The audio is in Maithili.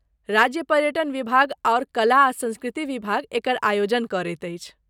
राज्य पर्यटन विभाग आओर कला आ संस्कृति विभाग एकर आयोजन करैत अछि।